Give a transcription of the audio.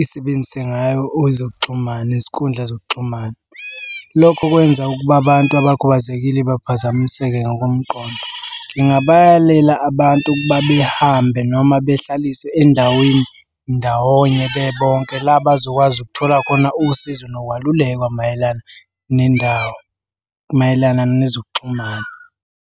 isebenzise ngayo ezokuxhumana, inkundla zokuxhumana. Lokho kwenza ukuba abantu abakhubazekile baphazamiseka ngokomqondo. Ngingabayalela abantu behambe noma behlaliswe endaweni ndawonye bebonke. La abazokwazi ukuthola khona usizo nokwalulekwa mayelana nendawo, mayelana nezokuxhumana.